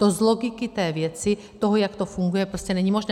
To z logiky té věci, toho, jak to funguje, prostě není možné.